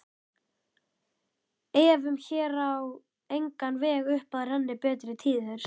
Efum vér á engan veg upp að renni betri tíðir